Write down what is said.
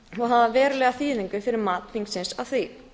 og hafa verulega þýðingu fyrir mat þingsins á því